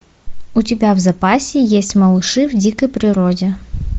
у тебя в запасе есть малыши в дикой природе